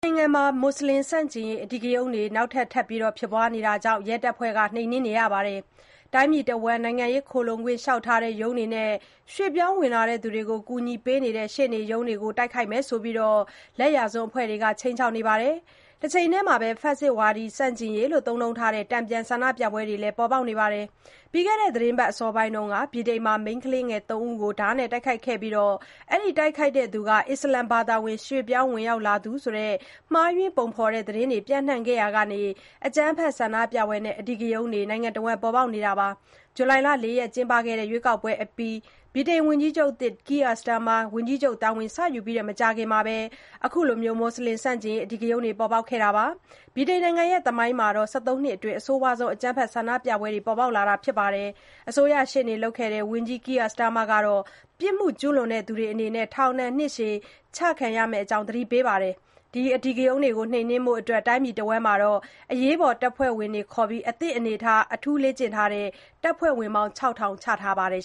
နိုင်ငံမှာ မူဆလင် ဆန့်ကျင်ရေး အဓိကရုဏ်းတွေ နောက်ထပ် ထပ်ပေါ်ပေါက်နေတာကြောင့် ရဲတပ်ဖွဲ့က နှိမ်နှင်းနေပါတယ်။ တိုင်းပြည်တဝန်း နိုင်ငံရေး ခိုလှုံခွင့်လျှောက်ထားတဲ့ ရုံးတွေနဲ့ ရွှေ့ပြောင်းဝင်လာသူတွေကို ကူညီပေးနေတဲ့ ရှေ့နေ ရုံးတွေကို တိုက်ခိုက်မယ်ဆိုပြီး လက်ယာစွန်းအဖွဲ့တွေက ခြိမ်းခြောက်နေပါတယ်။ တချိန်တည်းမှာပဲ ဖက်ဆစ်ဝါဒီဆန့်ကျင်ရေးလို့ သုံးနှုန်းထားတဲ့ တန်ပြန်ဆန္ဒပြပွဲတွေလည်း ပေါ်ပေါက်နေတာပါ။ ပြီးခဲ့တဲ့ သီတင်းပတ် အစောပိုင်းက ဗြိတိန်မှာ မိန်းကလေးငယ် သုံးဦး ဓါးနဲ့ တိုက်ခိုက်ခံခဲ့ရပြီး တိုက်ခိုက်တဲ့သူဟာ အစ္စလာမ်ဘာသာဝင် ရွှေ့ပြောင်းဝင်လာသူ တဦးဖြစ်တယ်ဆိုတဲ့ မှားယွင်းပုံဖေါ်တဲ့ သတင်းတွေ ပျံ့နှံ့ခဲ့ရာက အကြမ်းဖက် ဆန္ဒပြပွဲနဲ့ အဓိကရုဏ်းတွေ နိုင်ငံတဝန်း ပေါ်ပေါက်နေတာပါ။ ဇူလိုင် ၄ ရက် ကျင်းပခဲ့တဲ့ ရွေးကောက်ပွဲအပြီး ဗြိတိန်ဝန်ကြီးချုပ်သစ် Keir Starmer ဝန်ကြီးချုပ် တာဝန်စယူပြီး မကြာခင် အခုလို အဓိကရုဏ်းတွေ ပေါ်ပေါက်ခဲ့တာပါ။ ဗြိတိန်နိုင်ငံ သမိုင်းမှာ ၁၃ နှစ်အတွင်း အဆိုးဝါးဆုံး အကြမ်းဖက် ဆန္ဒပြပွဲတွေ ပေါ်ပေါက်လာတာဖြစ်ပြီး အစိုးရရှေ့နေလုပ်ခဲ့တဲ့ ဝန်ကြီးချုပ် Keir Starmer ကတော့ ပြစ်မှု ကျုးလွန်သူတွေအနေနဲ့ ထောင်ဒဏ်နှစ်ရှည်တွေ ချမှတ်ခံရမယ့်အကြောင်း သတိပေးနေပါတယ်။ အဓိကရုဏ်းတွေကို နှိမ်နှင်းဖို့ တိုင်းပြည်တဝန်းမှာ အသင့်အနေအထား အထူးလေ့ကျင့်ထားတဲ့ အရေးပေါ်တပ်ဖွဲ့ဝင် ၆၀၀၀ ချထားပါတယ်